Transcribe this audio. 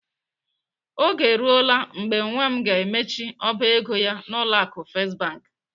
Oge eruola mgbe nwa m ga-emechi ọba ego ya n'ụlọ akụ First Bank.